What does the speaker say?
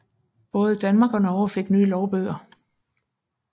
Både Danmark og Norge fik nye lovbøger